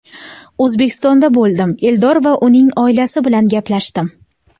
O‘zbekistonda bo‘ldim, Eldor va uning oilasi bilan gaplashdim.